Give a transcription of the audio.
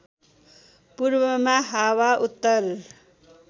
पूर्वमा हाँवा उत्तर